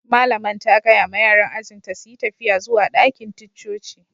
Malaman ta gaya ma yaran ajin ta su yi tafiya zuwa dakin ticcoci.